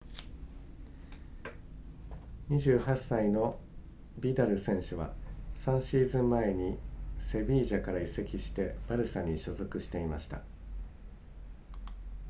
28歳のビダル選手は3シーズン前にセビージャから移籍してバルサに所属していました